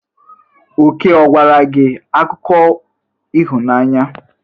Oke ọ gwara gị akụkọ ịhụnanya?